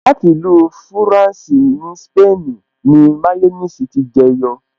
Láti ìlú fúrànsì ní súpènì ni máyọ́nìsì ti jẹ yọ